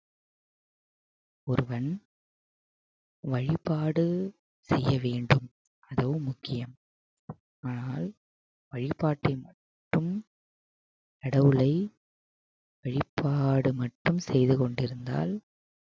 ஒருவன் வழிபாடு செய்ய வேண்டும் அதுவும் முக்கியம் ஆனால் வழிபாட்டை மட்டும் கடவுளை வழிப்பாடு மட்டும் செய்துகொண்டிருந்தால்